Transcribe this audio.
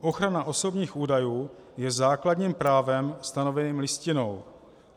Ochrana osobních údajů je základním právem stanoveným Listinou.